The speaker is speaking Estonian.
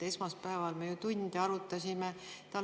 Esmaspäeval me ju tunde arutasime seda.